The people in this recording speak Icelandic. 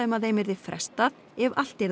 að þeim yrði frestað ef allt yrði á